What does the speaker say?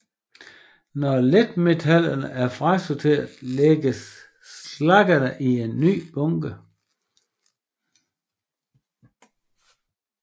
Når letmetallerne er frasorteret lægges slaggerne i en ny bunke